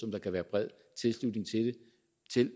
kan være bred tilslutning til